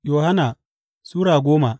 Yohanna Sura goma